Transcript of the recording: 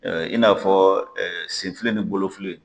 i n'a fɔ senfili ni bolofili.